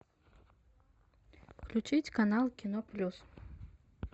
включить канал кино плюс